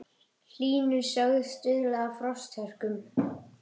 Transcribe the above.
Hlýnun sögð stuðla að frosthörkum